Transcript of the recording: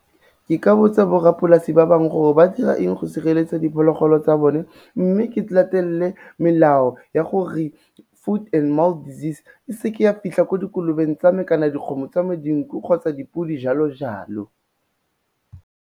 Ke ka botsa borrapolasi ba bangwe gore ba dira eng go sireletsa diphologolo tsa bone, mme ke latelele melao ya gore foot and mouth disease e seke ya fitlha ko dikolobeng tsa me kana dikgomo tsa me, dinku kgotsa dipodi, jalo-jalo.